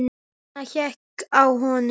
Nína hékk á honum.